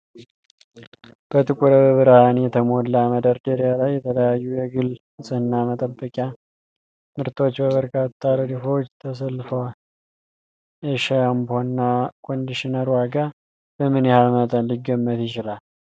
በጥሩ ብርሃን የተሞላ መደርደሪያ ላይ የተለያዩ የግል ንፅህና መጠበቂያ ምርቶች በበርካታ ረድፎች ተሰልፈዋል። የሻምፖና ኮንዲሽነር ዋጋ በምን ያህል መጠን ሊገመት ይችላል?